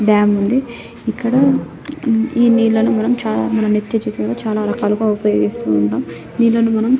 డం ఉంది ఇక్కడ ఈ నీళ్లను మనం చాలా మంది మన నిత్య జీవితంలో చాలా రకాలుగా ఉపయోగిస్తూ ఉంటాం నీళ్లను మనం --